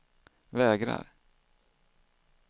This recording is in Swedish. vägrar